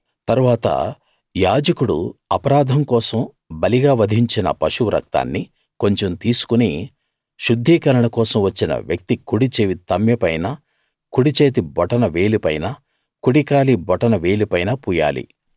తరువాత యాజకుడు అపరాధం కోసం బలిగా వధించిన పశువు రక్తాన్ని కొంచెం తీసుకుని శుద్ధీకరణ కోసం వచ్చిన వ్యక్తి కుడిచెవి తమ్మె పైనా కుడిచేతి బొటన వేలిపైనా కుడి కాలి బొటన వేలిపైనా పూయాలి